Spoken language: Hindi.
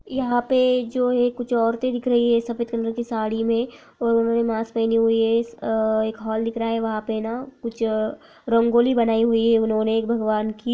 यहा पे जो है कुछ औरते दिख रही हैं सफ़ेद कलर की साड़ी में और उन्होंने मास्क पहने हुई हैं अ एक हॉल दिख रहा है। वहा पे ना कुछ अ रंगोली बनाई हुई हैं। उन्होंने एक भगवान की--